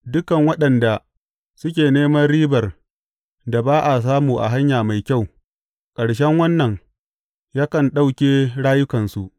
Dukan waɗanda suke neman ribar da ba a samu a hanya mai kyau; ƙarshen wannan yakan ɗauke rayukansu.